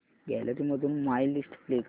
gallery मधून my list play कर